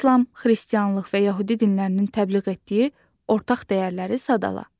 İslam, xristianlıq və yəhudi dinlərinin təbliğ etdiyi ortaq dəyərləri sadala.